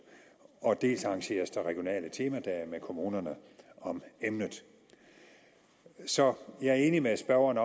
dels arrangeres der regionale temadage med kommunerne om emnet så jeg er enig med spørgeren